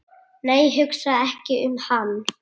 nei, hugsa ekki um hann!